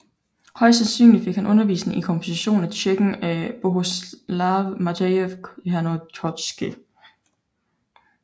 Højst sandsynligt fik han undervisning i komposition af tjekken Bohuslav Matěj Černohorský